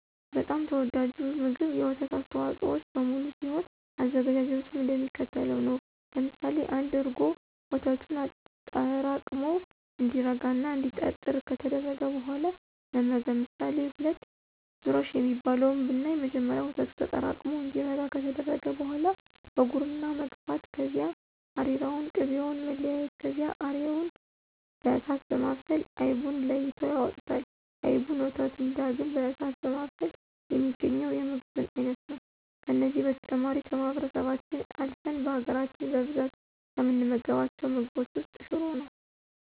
በጣም ተወዳጁ ምግብ የወተት አስተዋፆኦዎች በሙሉ ሲሆን አዘገጃጀቱም እንደሚከተለው ነው። ለምሳሌ1፦ እርጎ፦ ወተቱን አጠራቅሞ እንዲረጋ እና እንዲጠጥር ከተደረገ በኋላ መመገብ። ምሳሌ2፦ ዙረሽ የሚባለው ብናይ መጀመሪያ ወተቱ ተጠራቅሙ እንዲረጋ ከተደረገ በኋላ በጉርና መግፋት ከዚያ አሬራውንና ቅቤውን መለያየት ከዚያ አሬራውን በእሳት በማብሰል አይቡን ለይተው ያወጡታል። አይቡንና ወተቱን ዳግም በእሳት በማብሰል የሚገኘው የምግብን አይነት ነው። ከነዚህ በተጨማሪ ከማህበረሰባችን አልፍን በሀገራች በብዛት ከምንመገባቸው ምግቦች ውስጥ ሽሮ ነው።